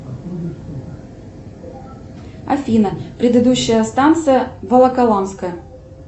афина предыдущая станция волоколамская